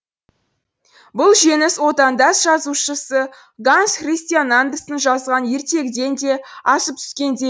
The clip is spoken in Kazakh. бұл жеңіс отандас жазушысы ганс христиан андерсен жазған ертегіден де асып түскендей